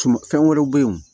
Tuma fɛn wɛrɛw bɛ ye